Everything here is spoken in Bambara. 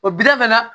O bila fana